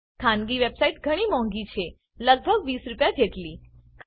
ખાનગી વેબસાઈટ ઘણી મોંઘી છે લગભગ ૨૦ રૂપિયા જેટલી